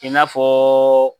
I n'a fɔ